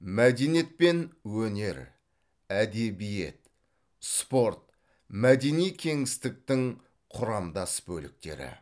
мәдениет пен өнер әдебиет спорт мәдени кеңістіктің құрамдас бөліктері